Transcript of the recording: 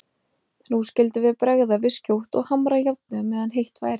Nú skyldum við bregða við skjótt og hamra járnið meðan heitt væri.